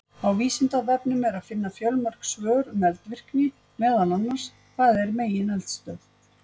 Á Vísindavefnum er að finna fjölmörg svör um eldvirkni, meðal annars: Hvað er megineldstöð?